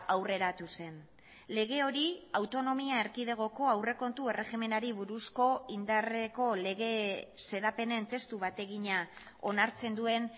aurreratu zen lege hori autonomia erkidegoko aurrekontu erregimenari buruzko indarreko lege xedapenen testu bat egina onartzen duen